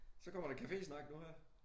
Så kommer der cafésnak nu her